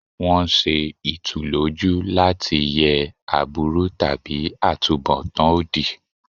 Wọ́n ń ṣe ìtùlójú láti yẹ aburú tàbí àtunbọ̀tán òdì.